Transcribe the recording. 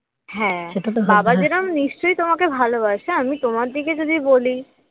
হ্যাঁ বাবা যেরকম নিশ্চয়ই তোমাকে ভালোবাসে আমি তোমার দিকে যদি বলি